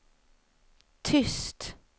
tyst